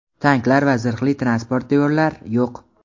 tanklar va zirhli transportyorlar yo‘q.